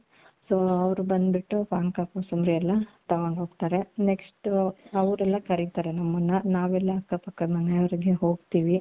so ಅವರು ಬಂದ್ಬಿಟ್ಟು ಪಾನಕ ಕೋಸಂಬರಿ ಎಲ್ಲಾ ತಗೊಂಡು ಹೋಗ್ತಾರೆ next ಅವರೆಲ್ಲಾ ಕರೀತಾರೆ ನಮ್ಮನ್ನ ನಾವೆಲ್ಲಾ ಅಕ್ಕಪಕ್ಕದ ಮನೆವರೆಗೆ ಹೋಗ್ತೀವಿ .